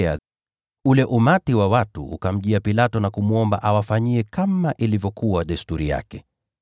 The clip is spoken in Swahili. Ule umati wa watu ukamjia Pilato na kumwomba awafanyie kama ilivyokuwa desturi yake.